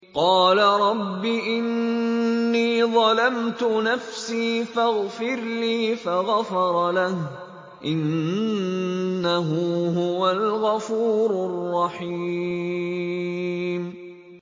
قَالَ رَبِّ إِنِّي ظَلَمْتُ نَفْسِي فَاغْفِرْ لِي فَغَفَرَ لَهُ ۚ إِنَّهُ هُوَ الْغَفُورُ الرَّحِيمُ